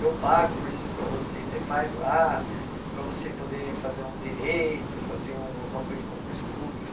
Eu pago o cursinho para você, você faz lá, para você poder fazer um direito, fazer um alguma coisa de concurso público.